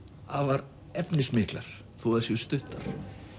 afar efnismiklar þó þær séu stuttar